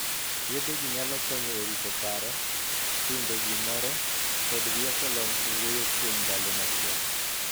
Yedhe gi nyalo konyo e rito paro, hingo gimoro, kod rieko lony e wuoyo kuom ndalo machuok.